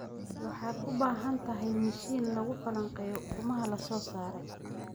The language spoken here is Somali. Waxaad u baahan tahay mishiin lagu falanqeeyo ukumaha la soo saaray.